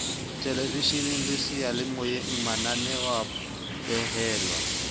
thelevesheneng le seyalemoyeng mananeoa behelwa